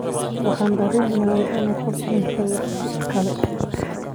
Waxaan dareemayay in qof dhintay wakhti kale.